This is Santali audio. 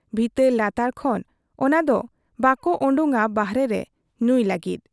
ᱵᱷᱤᱛᱟᱹᱨ ᱞᱟᱛᱟᱨ ᱠᱷᱚᱱ ᱚᱱᱟᱫᱚ ᱵᱟᱠᱚ ᱚᱰᱚᱠᱟ ᱵᱟᱦᱨᱮ ᱨᱮ ᱧᱩᱭ ᱞᱟᱹᱜᱤᱫ ᱾